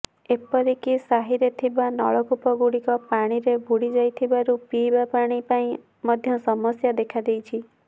ଏପରିକି ସାହିରେ ଥିବା ନଳକୂପ ଗୁଡିକ ପାଣିରେ ବୁଡି ଯାଇଥିବାରୁ ପିଇବା ପାଣି ପାଇଁ ମଧ୍ୟ ସମସ୍ୟା ଦେଖାଦେଇଛି